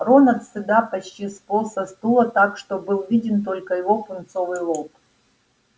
рон от стыда почти сполз со стула так что был виден только его пунцовый лоб